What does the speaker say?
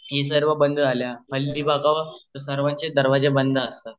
सर्व बंद झाल्या सर्वांचे दरवाजे बंद असतात